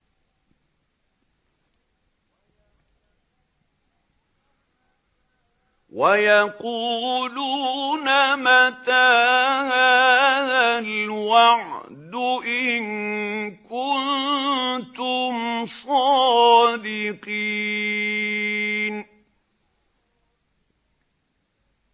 وَيَقُولُونَ مَتَىٰ هَٰذَا الْوَعْدُ إِن كُنتُمْ صَادِقِينَ